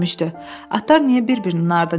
Atlar niyə bir-birinin ardınca ölür?